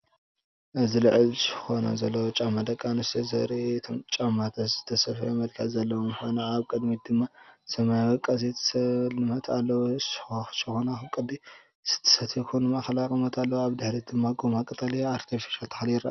እዚ ልዑል ሸኾና ዘለዎ ጫማ ደቂ ኣንስትዮ ዘርኢ እዩ። እቶም ጫማታት ዝተሰፍየ መልክዕ ዘለዎም ኮይኖም፡ኣብ ቅድሚት ድማ ሰማያዊ ቀስቲ ስልማት ኣለዎም። ሸኾናኡ ቅዲ ስቲለቶ ኮይኑ ማእከላይ ቁመት ኣለዎ። ኣብ ድሕሪት ኣብ ጎማ ቀጠልያ ኣርቲፊሻል ተኽሊ ይርአ።